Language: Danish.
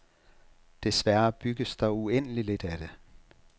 Desværre bygges der uendeligt lidt af det.